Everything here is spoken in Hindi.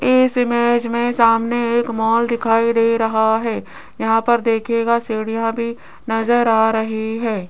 इस इमेज में सामने एक मॉल दिखाई दे रहा है यहां पर देखिएगा सीढ़ियां भी नजर आ रही है।